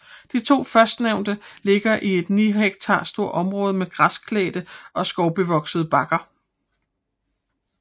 De to førstnævnte ligger i et ni hektar stort område med græsklædte og skovbevoksede bakker